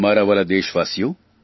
મારા વ્હાલા દેશવાલીઓ